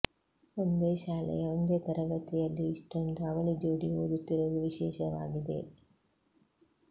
ಒಂದೇ ಶಾಲೆಂುು ಒಂದೇ ತರಗತಿಂುುಲ್ಲಿ ಇಷ್ಟೊಂದು ಅವಳಿ ಜೋಡಿ ಓದುತ್ತಿರುವುದು ವಿಶೇಷವಾಗಿದೆ